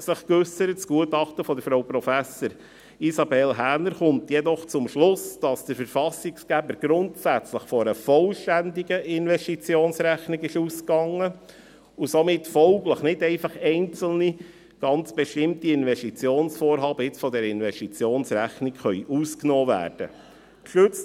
Das Gutachten von Frau Prof. Isabelle Häner kommt jedoch zum Schluss, dass der Verfassungsgeber grundsätzlich von einer vollständigen Investitionsrechnung ausging und somit folglich nicht einfach einzelne, ganz bestimmte Investitionsvorhaben nun von der Investitionsrechnung ausgenommen werden können.